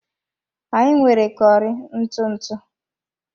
Anyị nwere curry ntụ ntụ